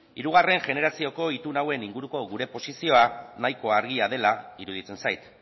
hirugarren generazioko itun hauen inguruko gure posizioa nahiko argia dela iruditzen zait